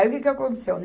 Aí o que que aconteceu?